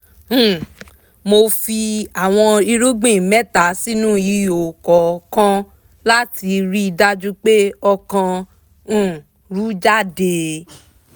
um mo fi àwọn irúgbìn mẹ́ta sínú ihò kọ̀ọ̀kan láti rí dájú pé ọ̀kan um rú jáde